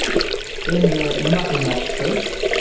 Endi nima qilmoqchisiz?